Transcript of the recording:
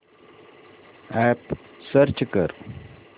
app search कर